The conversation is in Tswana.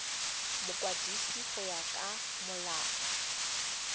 mokwadisi go ya ka molao